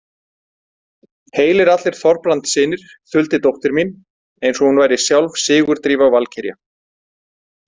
Heilir allir Þorbrandssynir, þuldi dóttir mín eins og hún væri sjálf Sigurdrífa valkyrja.